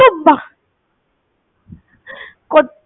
কত্ত